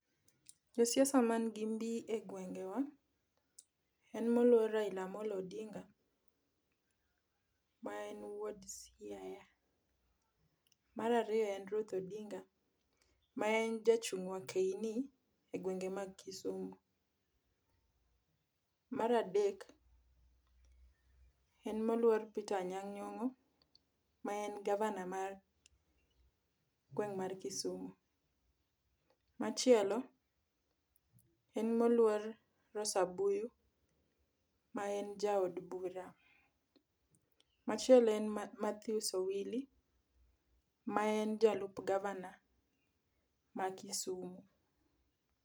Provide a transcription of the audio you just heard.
Josiasa man gi mbi e gwengwa en moluor Raila Amollo Odinga ma en wuod Siaya. Mar ariyo en Ruth Odinga ma en jachung wakeini ei Kisumu. Mar adek en moluor Peter Anyang' Nyongo maen gavana mar gweng ma Kisumu. Machielo en moluor Rosa Buyi maen jaod bura. Machielo en Mathews Owili maen jalup gavana ma Kisumu